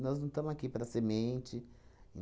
não estamos aqui para ser mente.